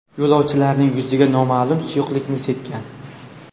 yo‘lovchilarning yuziga noma’lum suyuqlikni sepgan.